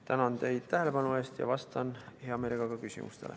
Tänan teid tähelepanu eest ja vastan hea meelega küsimustele.